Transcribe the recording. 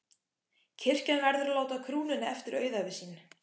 Kirkjan verður að láta krúnunni eftir auðæfi sín.